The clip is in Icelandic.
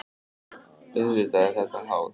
Auðvitað er þetta háð.